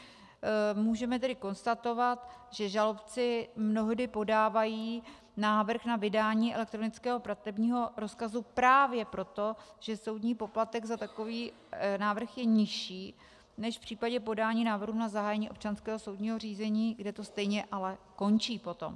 Můžeme tedy konstatovat, že žalobci mnohdy podávají návrh na vydání elektronického platebního rozkazu právě proto, že soudní poplatek za takový návrh je nižší než v případě podání návrhu na zahájení občanského soudního řízení, kde to stejně ale končí potom.